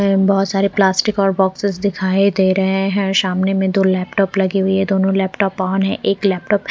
बहुत सारे प्लास्टिक और बोक्सेस दिखाई दे रहे हैं और शामने में दो लैपटॉप लगी हुई है दोनों लैपटॉप ऑन है एक लैपटॉप --